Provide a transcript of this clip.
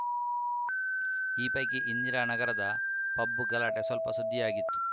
ಈ ಪೈಕಿ ಇಂದಿರಾನಗರದ ಪಬ್‌ ಗಲಾಟೆ ಸ್ವಲ್ಪ ಸುದ್ದಿಯಾಗಿತ್ತು